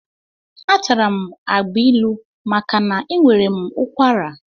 Atara m agbilu maka na enwere m ụkwara.